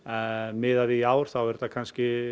miðað við í ár þá eru þetta kannski